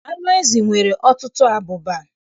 Anụ ezi nwere ọtụtụ abụba.